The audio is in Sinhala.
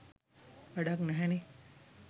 වැඩක් නැහැනේ.